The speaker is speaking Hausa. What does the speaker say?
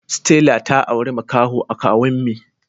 Stella ta aure makaho a kawuen me